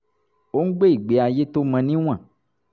ó ń gbé ìgbé ayé tó mọ ní wọ̀n